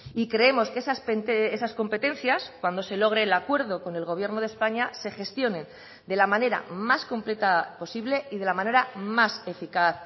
y creemos que esas competencias cuando se logre el acuerdo con el gobierno de españa se gestionen de la manera más completa posible y de la manera más eficaz